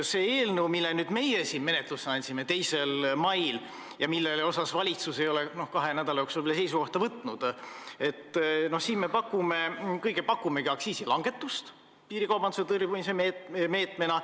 Selles eelnõus, mille meie 2. mail menetlusse andsime ja mille kohta valitsus ei ole kahe nädala jooksul veel seisukohta võtnud, me pakumegi aktsiisilangetust piirikaubanduse tõrjumise meetmena.